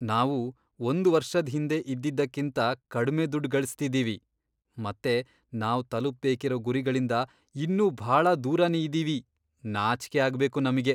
ನಾವು ಒಂದ್ ವರ್ಷದ್ ಹಿಂದೆ ಇದ್ದಿದ್ದಕ್ಕಿಂತ ಕಡ್ಮೆ ದುಡ್ಡ್ ಗಳಿಸ್ತಿದೀವಿ, ಮತ್ತೆ ನಾವ್ ತಲುಪ್ಬೇಕಿರೋ ಗುರಿಗಳಿಂದ ಇನ್ನೂ ಭಾಳ ದೂರನೇ ಇದೀವಿ. ನಾಚ್ಕೆ ಆಗ್ಬೇಕು ನಮ್ಗೆ!